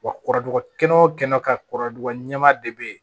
Wa kɔrɔduka o kɛnɛ ka kɔrɔ ɲɛma de bɛ yen